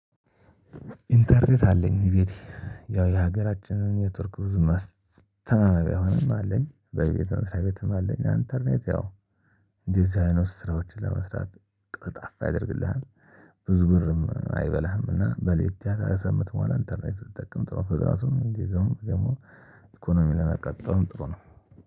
ኢንተርኔት አለኝ እቤቴ ያው የሀገራችንን ኔትወርክ ብዙም አስተማማኝ ባይሆንም አለኝ በቤት በመስሪያ ቤትም አለኝ እንተርኔት ያው እንደዚህ አይነት ስራዎችን ለመስራት ቅልጣፍ ያደርግልሀል ብዙ ብርም አይበላህም። እና በለየት ያለ ከምትሞላ ኢንተርኔት ትጠቀም ጥሩ ነው። ፍጥነቱም ጊዜውም ደግሞ ኢኮኖሚ ለመቆጠብ ጥሩ ነው።